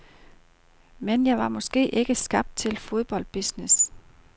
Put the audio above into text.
Men jeg var måske ikke skabt til fodboldbusiness.